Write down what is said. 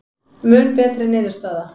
Mun betri niðurstaða